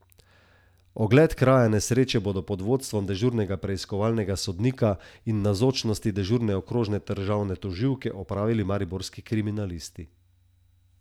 Ogled kraja nesreče bodo pod vodstvom dežurnega preiskovalnega sodnika in v navzočnosti dežurne okrožne državne tožilke opravili mariborski kriminalisti.